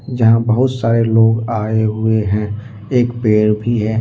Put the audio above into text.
यहां बहुत सारे लोग आए हुए हैं एक पेड़ भी है।